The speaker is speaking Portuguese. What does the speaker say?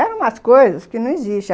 Eram umas coisas que não existem.